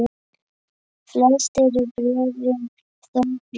Flest eru bréfin þó frá